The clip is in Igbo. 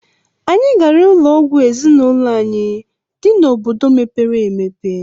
Anyị gara ụlọ ọgwụ ezinụlọ anyị dị n'obodo mepere emepe.